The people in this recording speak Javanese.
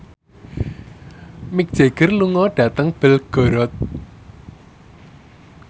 Mick Jagger lunga dhateng Belgorod